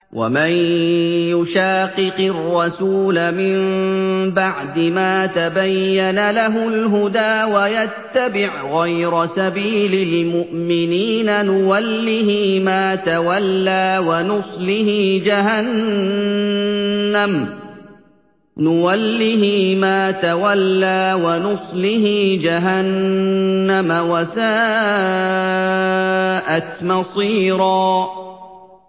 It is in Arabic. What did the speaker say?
وَمَن يُشَاقِقِ الرَّسُولَ مِن بَعْدِ مَا تَبَيَّنَ لَهُ الْهُدَىٰ وَيَتَّبِعْ غَيْرَ سَبِيلِ الْمُؤْمِنِينَ نُوَلِّهِ مَا تَوَلَّىٰ وَنُصْلِهِ جَهَنَّمَ ۖ وَسَاءَتْ مَصِيرًا